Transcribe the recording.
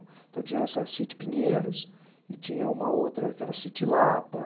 Então, tinha essa City Pinheiros e tinha uma outra que era a City Lapa.